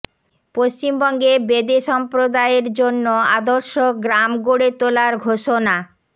পশ্চিমবঙ্গে বেদে সম্প্রদায়ের জন্য আদর্শ গ্রাম গড়ে তোলার ঘোষণা